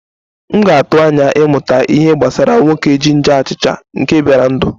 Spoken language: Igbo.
M na-atụ anya ịmụta ihe gbasara nwoke jinja achicha nke bịara ndụ.